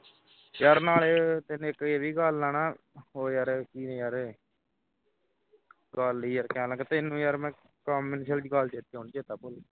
ਯਾਰ ਤੈਨੂੰ ਨਾਲ ਇੱਕ ਇਹ ਵੀ ਗੱਲ ਹੈ ਉਹ ਯਾਰ ਹੀ ਯਾਰ ਗੱਲ ਹੀਂ ਯਾਰ ਤੈਨੂੰ ਮੈਂ ਕਹਿਣ ਲੱਗਾਂ ਤੈਨੂੰ ਯਾਰ ਮੈਂ ਕੰਮ ਦੀ ਗੱਲ ਚੇਤੇ ਨਹੀਂ ਆਉਂਦੀ ਚੇਤਾ ਭੁੱਲ ਗਿਆ